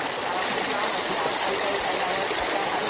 वेगवेगळ्या जातीचे लोकं असतात.